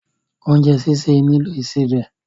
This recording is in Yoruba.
Oúnjẹ́ sìsè nílò ìsebẹ̀.